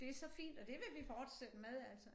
Det så fint og det vil vi fortsætte med altså